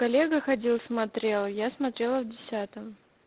коллега ходил смотрел я смотрела в десятом